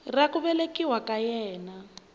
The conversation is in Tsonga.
ra ku velekiwa ka yena